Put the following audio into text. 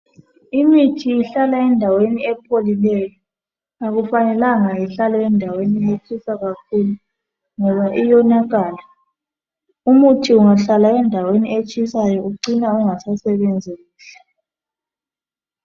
Imithi ihlale endaweni epholileyo akufanelanga ihlale endaweni etshisa kakhulu ngoba iyonakala. Umuthi ungahlala endaweni etshisayo ucina ungasasebenzi kuhle.